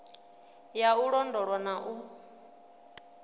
ya u londolwa na u